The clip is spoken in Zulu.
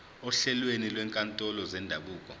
ohlelweni lwezinkantolo zendabuko